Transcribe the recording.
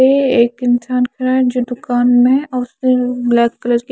ऐ एक इन्सान काहे जो दुकान में और उसने ब्लैक कलर की --